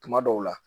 Tuma dɔw la